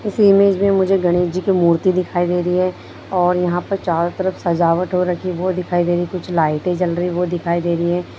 इस इमेज में मुझे गणेश जी की मूर्ति दिखाई दे रही है और यहाँ पर चारों तरफ सजावट हो रखी है वो दिखाई दे रही हैं कुछ लाईटें जल रही हैं वो दिखाई दे रही हैं।